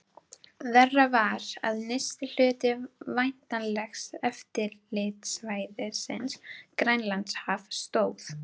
Verra var, að nyrsti hluti væntanlegs eftirlitssvæðis, Grænlandshaf, stóð